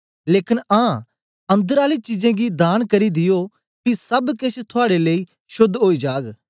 लेकन आं अंदर आली चीजे गी दान करी दियो पी सब केछ थुआड़े लेई शोद्ध ओई जाग